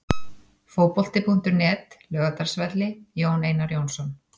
Fótbolti.net, Laugardalsvelli- Jón Einar Jónsson.